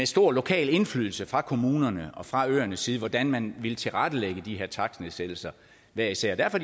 stor lokal indflydelse fra kommunerne og fra øernes side hvordan man ville tilrettelægge de her takstnedsættelser hver især og derfor